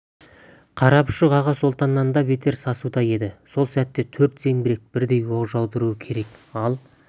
қарапұшық аға сұлтаннан да бетер сасуда еді сол сәтте төрт зеңбірек бірдей оқ жаудыруы керек ал